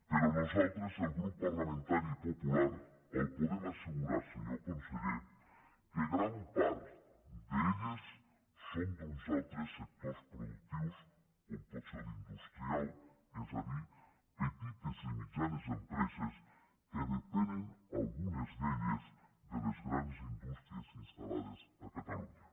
però nosaltres el grup parlamentari popular li podem assegurar senyor conseller que gran part d’elles són d’uns altres sectors productius com pot ser l’industrial és a dir petites i mitjanes empreses que depenen algunes d’elles de les grans indústries instal·lades a catalunya